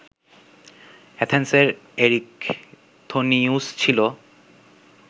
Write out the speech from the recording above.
অ্যাথেন্সের Erichthonius ছিল